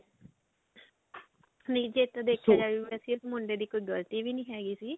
ਨਹੀਂ ਜੇ ਤਾਂ ਵੈਸੇ ਦੇਖਿਆ ਜਾਵੇ ਤਾਂ ਮੁੰਡੇ ਦੀ ਕੋਈ ਗਲਤੀ ਵੀ ਨਹੀਂ ਹੈਗੀ ਸੀ